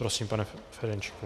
Prosím, pane Ferjenčíku.